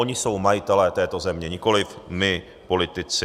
Oni jsou majitelé této země, nikoliv my politici.